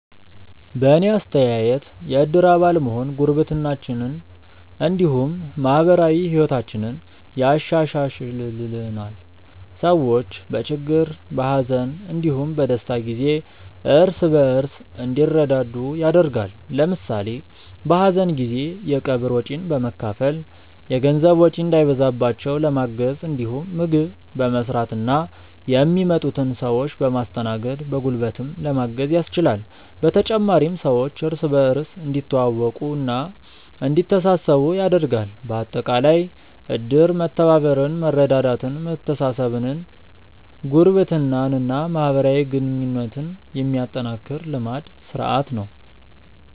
በእኔ አስተያየት የእድር አባል መሆን ጉርብትናችንን እንዲሁም ማህበራዊ ህይወታችንን ያሻሻሽልልናል። ሰዎች በችግር፣ በሀዘን እንዲሁም በደስታ ጊዜ እርስ በእርስ እንዲረዳዱ ያደርጋል። ለምሳሌ በሀዘን ጊዜ የቀብር ወጪን በመካፈል የገንዘብ ወጪ እንዳይበዛባቸው ለማገዝ እንዲሁም ምግብ በመስራትና የሚመጡትን ሰዎች በማስተናገድ በጉልበትም ለማገዝ ያስችላል። በተጨማሪም ሰዎች እርስ በእርስ እንዲተዋወቁና እንዲተሳሰቡ ያደርጋል። በአጠቃላይ እድር መተባበርን፣ መረዳዳትን፣ መተሳሰብን፣ ጉርብትናን እና ማህበራዊ ግንኙነትን የሚያጠናክር ልማድ (ስርአት) ነው።